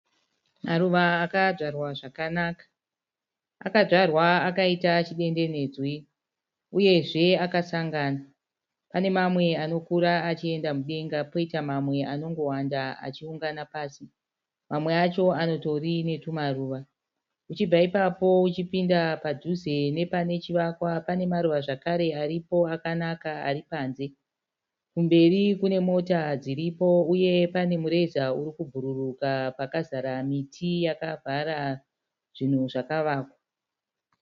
Maruva akadzvarwa zvakanaka, akadzvarwa akaita chidendenedzwe uyezve akasangana. Pane mamwe anokura achienda mudenga poita mamwe anongowanda achiungana pasi, mamwe acho anotori netumaruva. Uchibva ipapo uchipinda padhuze nepanechivakwa pane maruva zvekare aripo akanaka ari panze. Kumberi kune mota dziripo uye pane mureza uri kubhururuka pakazara miti yakavhara zvinhu zvakavakwa.